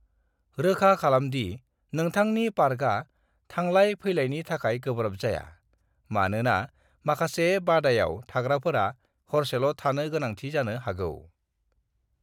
"रोखा खालामदि नोंथांनि पार्कआ थांलाय-फैलायनि थाखाय गोब्राब जाया, मानोना माखासे बादायाव थाग्राफोरा हरसेल' थानो गोनांथि जानो हागौ।"